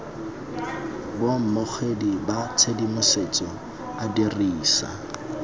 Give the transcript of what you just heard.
baamogedi ba tshedimosetso a dirisa